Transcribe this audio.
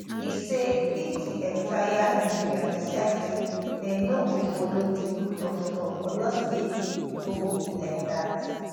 e say if di entire nigeria decide say dem no go follow di rule of law oyo state no go be like dat